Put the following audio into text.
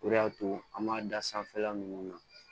O de y'a to an b'a da sanfɛla ninnu na